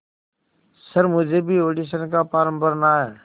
sir मुझे भी audition का फॉर्म भरना है